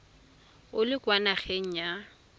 o le kwa nageng ya